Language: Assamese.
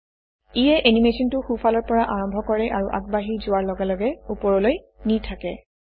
ইয়ে এনিমেচনটো সোঁফালৰ পৰা আৰম্ভ কৰে আৰু আগবাঢ়ি যোৱাৰ লগে লগে ওপৰলৈ নি থাকে